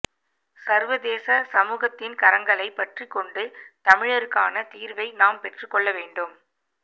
சர்வதேச சமூகத்தின் கரங்களைப் பற்றிக்கொண்டு தமிழருக்கான தீர்வை நாம் பெற்றுக்கொள்ள வேண்டும்